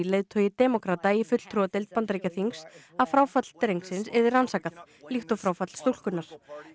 leiðtogi demókrata í fulltrúadeild Bandaríkjaþings að fráfall verði rannsakað líkt og fráfall stúlkunnar